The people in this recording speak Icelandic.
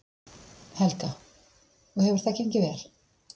Helga: Og hefur það gengið vel?